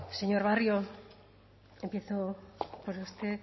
señor barrio empiezo por usted